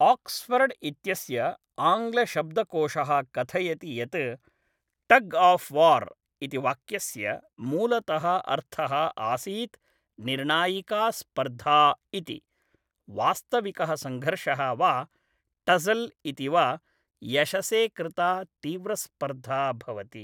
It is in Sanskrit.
आक्सफर्ड् इत्यस्य आङ्ग्लशब्दकोशः कथयति यत् टग् आफ् वार् इति वाक्यस्य मूलतः अर्थः आसीत् निर्णायिका स्पर्धा इति, वास्तविकः संघर्षः वा टस्सल् इति वा, यशसे कृता तीव्रस्पर्धा भवति।